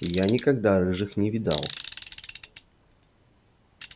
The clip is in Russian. я никогда рыжих не видал